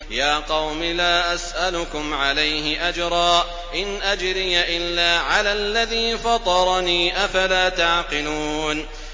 يَا قَوْمِ لَا أَسْأَلُكُمْ عَلَيْهِ أَجْرًا ۖ إِنْ أَجْرِيَ إِلَّا عَلَى الَّذِي فَطَرَنِي ۚ أَفَلَا تَعْقِلُونَ